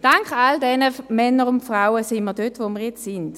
Dank all dieser Männer und Frauen stehen wir heute dort, wo wir jetzt sind.